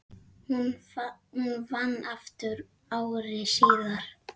Hún vann aftur ári síðar.